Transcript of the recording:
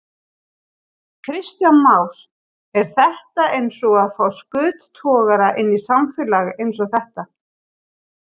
Kristján Már: Er þetta eins og að fá skuttogara inn í samfélag eins og þetta?